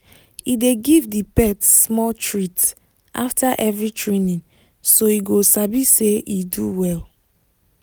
he dey give the pet small treat after every training so e go sabi say e do well.